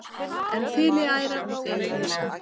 en þiliæra og þiliausa